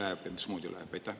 Kuhu see läheb ja mismoodi läheb?